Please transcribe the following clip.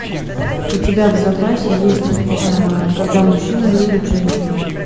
у тебя в запасе есть когда мужчина любит женщину